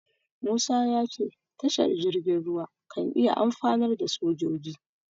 Musa ya ce tashar jirgin ruwa kan iya amfanar da sojoji.